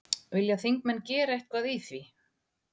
Vilja þingmenn gera eitthvað í því?